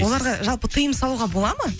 оларға жалпы тиым салуға бола ма